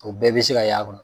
O bɛɛ be se ka y'a kɔnɔ